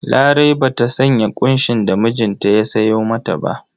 Larai ba sanya ƙunshin da mijinta ya sayo mata ba.